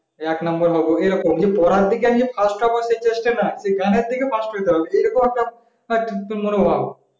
এক number হব আমি পড়বে পড়ার দিকে আমি first হবো সেই চেষ্টা নাই গানের দিকে first হতে হবে এরকম হয়তো মনোভাব